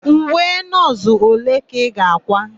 Uwe nọọsụ ole ka ị ga-àkwá?